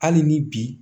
Hali ni bi